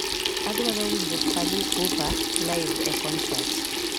adwaro winjo fally ipupa live e concert